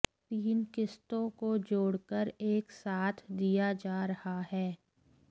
तीन किस्तों को जोड़कर एक साथ दिया जा रहा है